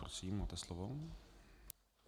Prosím, máte slovo.